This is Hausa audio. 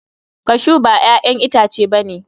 Cashew ba 'ya'yan itace ba ne.